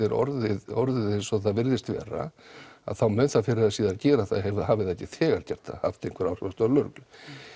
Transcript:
er orðið orðið eins og það virðist vera þá mun það fyrr eða síðar gera það hafi það ekki þegar gert það haft einhver áhrif á störf lögreglunnar